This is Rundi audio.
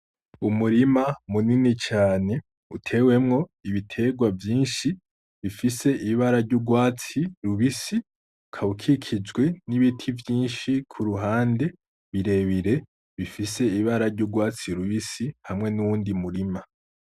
Umurima munini cane utewemwo ibiterwa vyinshi bifise ibara ry'urwatsi rubisi ukaba ukikijwe n'ibiti vyinshi ku ruhande birebire bifise ibara ry'urwatsi rubisi hamwe n'uwundi murima.